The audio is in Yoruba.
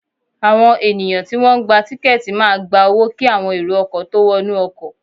Àwọn ènìyàn tí wọ́n ń gba tiketi máa gba owó kí àwọn èrò ọkọ̀ tó wọnú ọkọ̀